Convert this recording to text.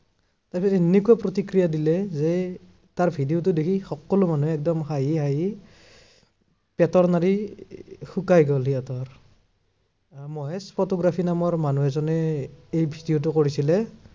তাৰপিছত এনেকুৱা প্ৰতিক্ৰিয়া দিলে, যে তাৰ video টো দেখি সকলো মানুহে একদম হাঁহি হাঁহি পেটৰ নাড়ী শুকাই গল সিহঁতৰ। মহেশ photography নামৰ মানুহজনে এই video টো কৰিছিলে।